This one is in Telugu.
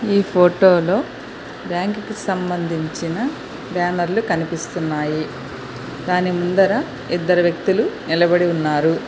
ఈ ఫోటోలో బ్యాంకుకి సంబంధించిన బ్యానర్లు కనిపిస్తున్నాయి దాని ముందర ఇద్దరు వ్యక్తులు నిలబడి ఉన్నారు.